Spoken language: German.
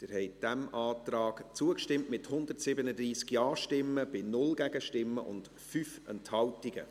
Sie haben diesem Antrag zugestimmt, mit 137 Ja- gegen 0 Nein-Stimmen bei 5 Enthaltungen.